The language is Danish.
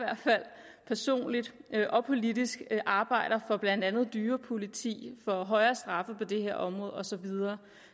personligt og politisk arbejder for blandt andet et dyrepoliti og få højere straffe på det her område og så videre